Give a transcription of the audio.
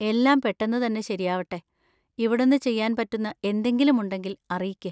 എല്ലാം പെട്ടെന്ന് തന്നെ ശരിയാവട്ടെ; ഇവിടുന്ന് ചെയ്യാൻ പറ്റുന്ന എന്തെങ്കിലും ഉണ്ടെങ്കിൽ അറിയിക്ക്.